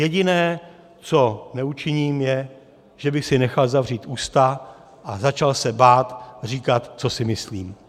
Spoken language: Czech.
Jediné, co neučiním, je, že bych si nechal zavřít ústa a začal se bát říkat, co si myslím.